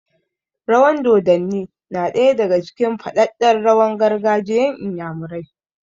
Rawan dodanni na ɗaya daga cikin faɗaɗɗen rawan gargajiyan inyamurai